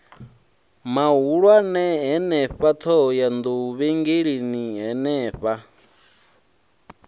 mahulwane henefha ṱhohoyanḓou vhengeleni henefha